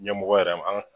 Ɲɛmɔgɔ yɛrɛ ma an ka